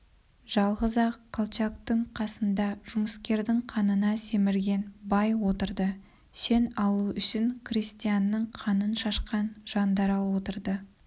жалғыз-ақ колчактың қасында жұмыскердің қанына семірген бай отырды шен алу үшін крестьянның қанын шашқан жандарал отырды